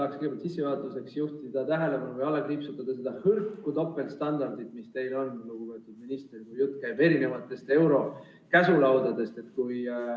Ma tahaksin sissejuhatuseks juhtida tähelepanu ja alla kriipsutada selle hõrgu topeltstandardi, mis teil on, lugupeetud minister, kui jutt käib euroliidu käsulaudadest.